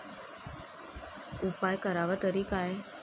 उपाय करावा तरी काय?